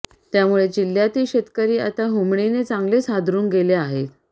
त्यामुळे जिल्ह्यातील शेतकरी आता हुमणीने चांगलेच हादरून गेले आहेत